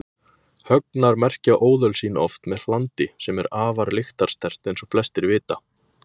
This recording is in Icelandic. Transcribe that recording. Högnar merkja óðöl sín oft með hlandi sem er afar lyktarsterkt eins og flestir vita.